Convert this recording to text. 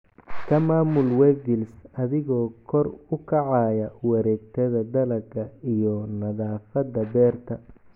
Ku maamul weevils adigoo kor u kacaya, wareegtada dalagga iyo nadaafadda beerta"